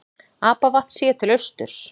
Apavatn séð til austurs.